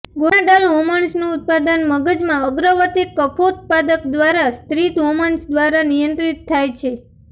gonadal હોર્મોનનું ઉત્પાદન મગજમાં અગ્રવર્તી કફોત્પાદક દ્વારા સ્ત્રિત હોર્મોન્સ દ્વારા નિયંત્રિત થાય છે